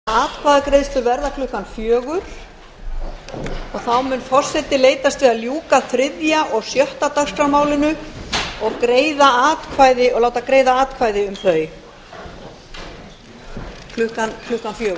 forseti vill láta þess getið að atkvæðagreiðslur verða klukkan fjögur og þá mun forseti leitast við að ljúka þriðja og sjötta dagskrármálinu og láta greiða atkvæði um þau klukkan fjögur